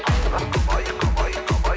қарындас қалай қалай қалай